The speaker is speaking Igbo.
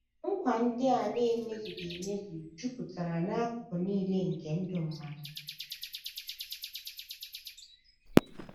Nkwa ndị a na - emezughị emezu jupụtara n’akụkụ nile jupụtara n’akụkụ nile nke ndụ mmadụ.